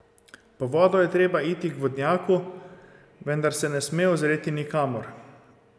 Po vodo je treba iti k vodnjaku, vendar se ne sme ozreti nikamor.